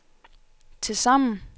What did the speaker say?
tilsammen